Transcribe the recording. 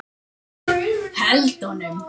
Held honum.